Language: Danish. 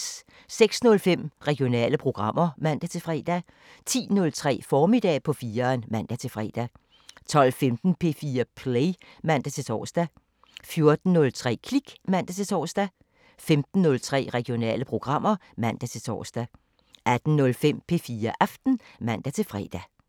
06:05: Regionale programmer (man-fre) 10:03: Formiddag på 4'eren (man-fre) 12:15: P4 Play (man-tor) 14:03: Klik (man-tor) 15:03: Regionale programmer (man-tor) 18:05: P4 Aften (man-fre)